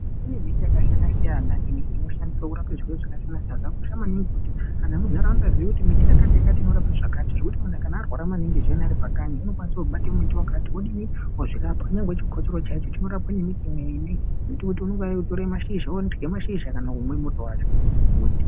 Kune mbiti yakasiyana siyana imwe inoshandiswa kurapa zvirwere zvaka siyana siyana zvaka kosha maningi kuti antu emu ndaraunda aziye miti yakati yakati inorape zvakati zvekuti munhu kana arwara maningi ari pakanyi unokwanise kubata miti wakati wodini wo zvirapa kunyangwe chikotsoro chaichi choraowe ne mbiti imweni inoti unotore mashizha worye mashizha kana kumwe muto wacho.